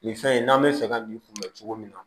Nin fɛn in n'an bɛ fɛ ka nin kunbɛn cogo min na